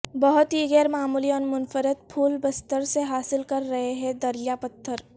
بہت ہی غیر معمولی اور منفرد پھول بستر سے حاصل کر رہے ہیں دریا پتھر